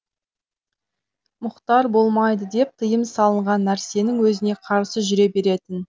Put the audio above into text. мұхтар болмайды деп тыйым салынған нәрсенің өзіне қарсы жүре беретін